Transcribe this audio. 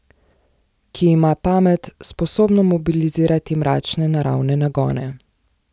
Ki ima pamet, sposobno mobilizirati mračne naravne nagone.